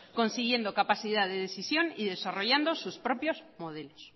consiguiendo capacidad de decisión y desarrollando sus propios modelos